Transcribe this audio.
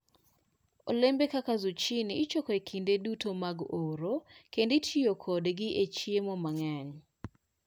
Olembe kaka zucchini ichoko e kinde duto mag oro kendo itiyo kodgi e chiemo mang'eny.